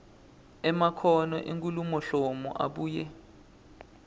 emakhono enkhulumoluhlolo abuye